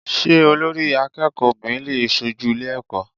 Sé Olórí akéèkòó obìnrin lè sojú Ilé eko?